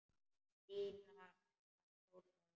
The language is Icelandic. Stína var tólf ára.